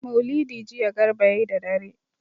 Maulidi jiya Garba ya yi da dare.